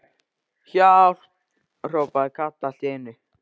HJÁLP.! hrópaði Kata allt í einu.